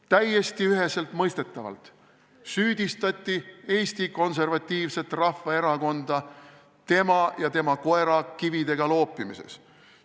Täiesti üheselt mõistetavalt süüdistati Eesti Konservatiivset Rahvaerakonda tema ja tema koera kividega loopimises.